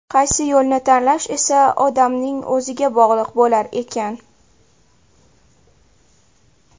Qaysi yo‘lni tanlash esa odamning o‘ziga bog‘liq bo‘lar ekan.